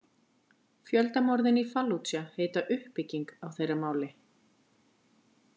Fjöldamorðin í Fallúdja heita „uppbygging“ á þeirra máli.